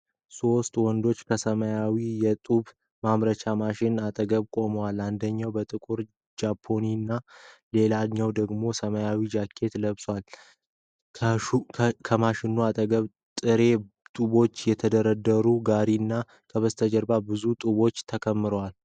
ሶስት ወንዶች ከሰማያዊ የጡብ ማምረቻ ማሽን አጠገብ ቆመዋል። አንደኛው በጥቁር ጃምፐርና ሌላኛው ደግሞ ሰማያዊ ጃኬት ለብሷል። ከማሽኑ አጠገብ ጥሬ ጡቦች የተደረደሩበት ጋሪና ከበስተጀርባ ብዙ ጡቦች ተከምረዋል።